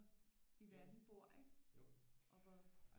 I verden bor ikke og hvor